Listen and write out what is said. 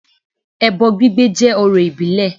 Ẹbọ gbígbé jẹ́ ọrọ̀ ìbílẹ̀